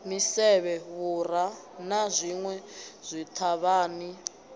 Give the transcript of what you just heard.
misevhe vhura na zwinwe zwithavhani